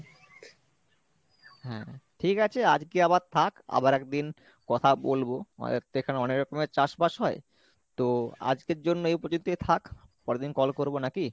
হ্যা ঠিক আছে আজকে আবার থাকে আবার আরেকদিন কথা বলবো আমাদের তো এখানে অনেক রকমের চাষবাস হয় তো আজকের জন্য এই পর্যন্তই থাক পরেরদিন call করবো নাকি?